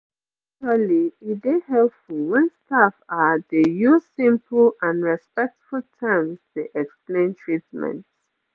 actually e dey helpful wen staff ah dey use simple and respectful terms dey explain treatments